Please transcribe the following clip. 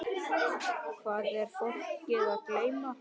Hvað er fólk að geyma?